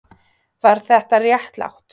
Var þetta réttlátt?